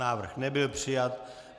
Návrh nebyl přijat.